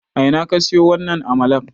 A ina ka siyo wannan amalar?